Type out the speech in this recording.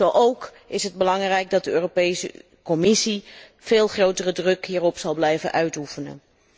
Zo ook is het van belang dat de Europese Commissie veel grotere druk hierop blijft uitoefenen.